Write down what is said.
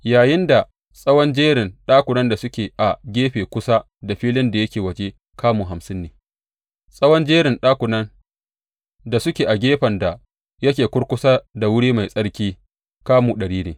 Yayinda tsawon jerin ɗakunan da suke a gefe kusa da filin da yake waje kamu hamsin ne, tsawon jerin ɗakunan da suke a gefen da yake kurkusa da wuri mai tsarki kamu ɗari ne.